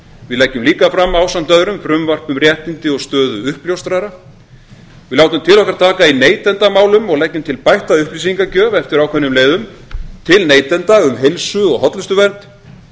við leggjum líka fram ásamt öðrum frumvarp um réttindi og stöðu uppljóstrara við látum til okkar taka í neytendamálum og leggjum til bætta upplýsingagjöf eftir ákveðnum leiðum til neytenda um heilsu og hollustuvernd